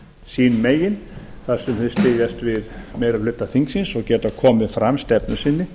sín megin þar sem þau styðjast við meiri hluta þingsins og geta komið fram stefnu sinni